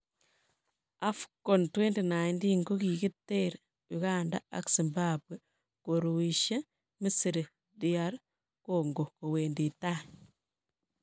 AFCON 2019: Kigiter Uganda ak Zimbabwe koruisie Misri DR Congo kowendi tai